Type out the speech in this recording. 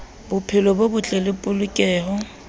bophelo bo botle le polokeho